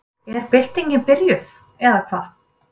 Er byltingin byrjuð, eða hvað?